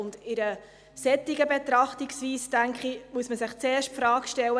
Bei einer solchen Betrachtungsweise, denke ich, muss man sich zuerst die Frage stellen: